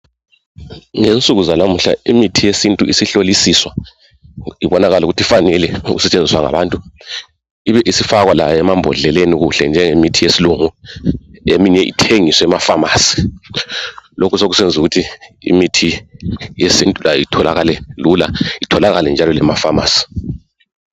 Ngensuku zalamuhla imithi yesintu isihlolisiswa ibonakale ukuthi ifanele ukusetshenziswa ngabantu, ibe isifakwa layo emambodleleni kuhle njengemithi yesilungu eminye ithengiswe emafamasi. Lokhu sokusenzukuthi imithi yesintu layo itholakale lula itholakale njalo lemafamasi.